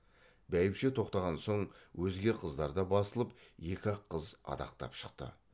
бәйбіше тоқтаған соң өзге қыздар да басылып екі ақ қыз адақтап шықты